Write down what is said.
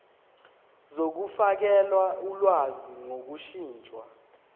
zokufakela ulwazi ngokushintsha